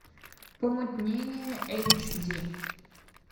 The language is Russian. помутнение эйч ди